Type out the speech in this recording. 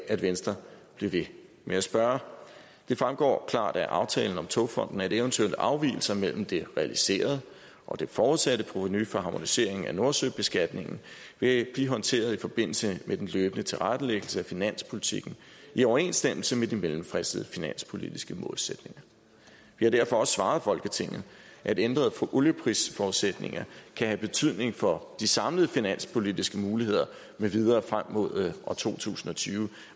at venstre bliver ved med at spørge det fremgår klart af aftalen om togfonden dk at eventuelle afvigelser mellem det realiserede og det forudsatte provenu fra harmoniseringen af nordsøbeskatningen vil blive håndteret i forbindelse med den løbende tilrettelæggelse af finanspolitikken i overensstemmelse med de mellemfristede finanspolitiske målsætninger vi har derfor også svaret folketinget at ændrede olieprisforudsætninger kan have betydning for de samlede finanspolitiske muligheder med videre frem mod to tusind og tyve